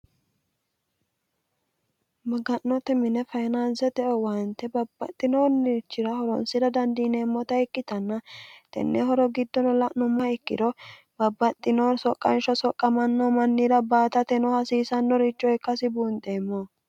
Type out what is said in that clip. maga'note mine fayinaansete owayante babbaxxinoonirichira horonsira dandiineemmota ikkitanna tennehoro giddono la'numma ikkiro babbaxxinoori soqqansho soqqamanno mannira baatateno hasiisannoricho ikkasi buunxeemmo